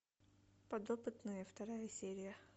подопытные вторая серия